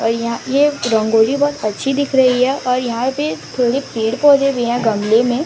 और यहां ये रंगोली बहोत अच्छी दिख रही है और यहां पे थोड़े पेड़ पौधे भी हैं गमले में--